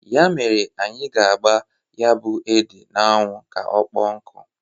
Ya mere anyị ga-agba ya bụ ede n'anwụ ka ọkpọọ nkụ.